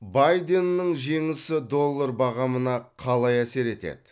байденнің жеңісі доллар бағамына қалай әсер етеді